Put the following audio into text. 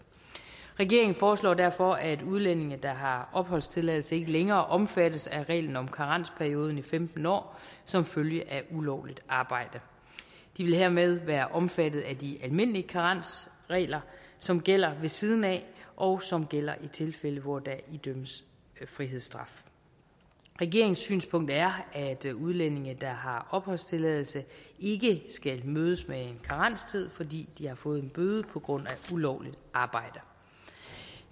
regeringen foreslår derfor at udlændinge der har opholdstilladelse ikke længere omfattes af reglen om karensperioden i femten år som følge af ulovligt arbejde de vil hermed være omfattet af de almindelige karensregler som gælder ved siden af og som gælder i tilfælde hvor der idømmes frihedsstraf regeringens synspunkt er at udlændinge der har opholdstilladelse ikke skal mødes med en karenstid fordi de har fået en bøde på grund af ulovligt arbejde